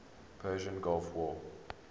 persian gulf war